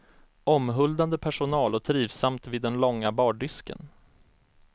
Omhuldande personal och trivsamt vid den långa bardisken.